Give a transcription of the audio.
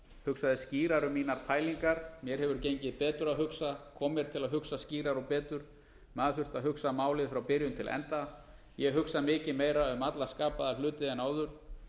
hugsaði skýrar um mínar eltingar mér hefur gengið betur að hugsa kom mér til að hugsa skýrar og betur áður þurfti að hugsa málið frá byrjun til enda ég hugsa mikið meira um alla skapaða hluti en áður